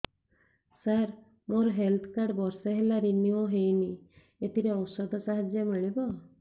ସାର ମୋର health card ବର୍ଷେ ହେଲା ରିନିଓ ହେଇନି ଏଥିରେ ଔଷଧ ସାହାଯ୍ୟ ମିଳିବ